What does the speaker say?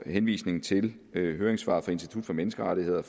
henvisningen til høringssvaret fra institut for menneskerettigheder